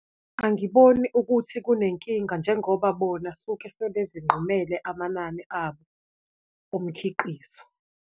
Angiboni ukuthi kunenkinga njengoba bona suke sebezinqumele amanani abo omkhiqizo.